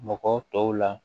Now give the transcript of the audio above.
Mɔgɔ tɔw la